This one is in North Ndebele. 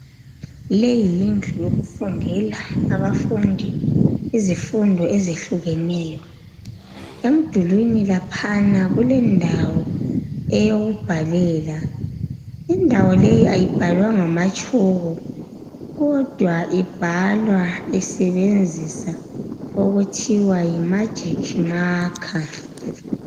Le yindlu yokufundela abafundi izifundo ezehlukeneyo . Emdulini laphana kulendawo eyokubhalela . Indawo le ayibhalwa ngama chalko kodwa ibhalwa besebenzisa okuthiwa yi magic marker.